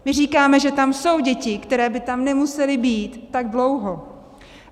My říkáme, že tam jsou děti, které by tam nemusely být tak dlouho.